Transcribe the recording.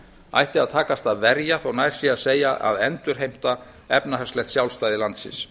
ætti að takast að verja þótt nær sé að segja að endurheimta efnahagslegt sjálfstæði landsins